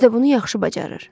Özü də bunu yaxşı bacarır.